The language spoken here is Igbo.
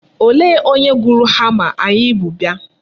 Olee onye gụrụ hama anyị bu bịa.